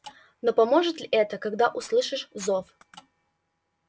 но поможет ли это когда услышишь зов